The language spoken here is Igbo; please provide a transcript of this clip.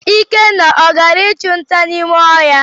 Ikenna ọ gara ichu nta n'ime ohia?